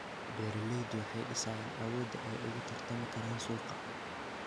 Beeraleydu waxay dhisayaan awoodda ay ugu tartami karaan suuqa